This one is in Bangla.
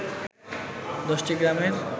১০টি গ্রামের